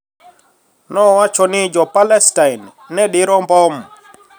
Nowacho ni Jo - Palestin ne diro mbom